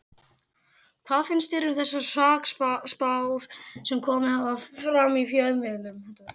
Hvað finnst þér um þessar hrakspár sem komið hafa fram í fjölmiðlum?